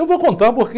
Eu vou contar porque...